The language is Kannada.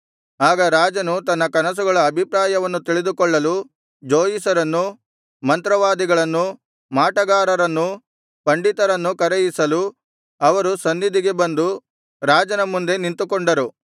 ಆಗ ರಾಜನು ತನ್ನ ಕನಸುಗಳ ಅಭಿಪ್ರಾಯವನ್ನು ತಿಳಿದುಕೊಳ್ಳಲು ಜೋಯಿಸರನ್ನೂ ಮಂತ್ರವಾದಿಗಳನ್ನೂ ಮಾಟಗಾರರನ್ನೂ ಪಂಡಿತರನ್ನೂ ಕರೆಯಿಸಲು ಅವರು ಸನ್ನಿಧಿಗೆ ಬಂದು ರಾಜನ ಮುಂದೆ ನಿಂತುಕೊಂಡರು